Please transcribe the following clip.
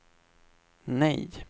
nej